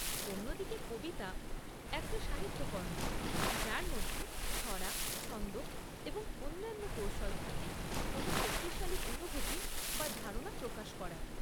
অন্যদিকে কবিতা একটা সাহিত্যকর্ম যার মধ্যে ছড়া, ছন্দ এবং অন্যান্য কৌশল থাকে কোন শক্তিশালী অনুভূতি বা ধারণা প্রকাশ করার।